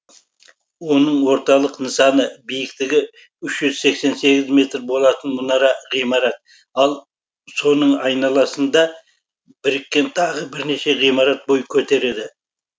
оның орталық нысаны биіктігі үш жүз сексен сегіз метр болатын мұнара ғимарат ал соның айналасында біріккен тағы бірнеше ғимарат бой көтереді